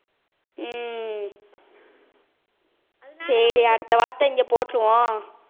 ஹம் சரி அடுத்த வாட்ட இங்க போட்டுருவோம்